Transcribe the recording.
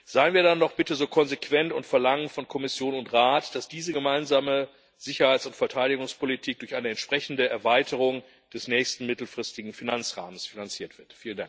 Seien wir dann doch bitte so konsequent und verlangen von Kommission und Rat, dass diese gemeinsame Sicherheits und Verteidigungspolitik durch eine entsprechende Erweiterung des nächsten mittelfristigen Finanzrahmens finanziert wird!